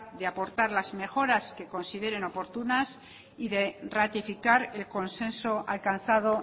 de aportar las mejoras que consideren oportunas y de ratificar el consenso alcanzado